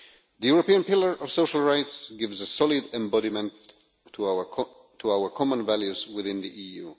The European Pillar of Social Rights gives a solid embodiment to our common values within the EU.